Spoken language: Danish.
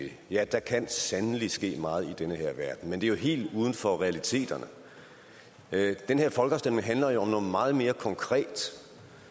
det ja der kan sandelig ske meget i den her verden men det er jo helt uden for realiteterne den her folkeafstemning handler om noget meget mere konkret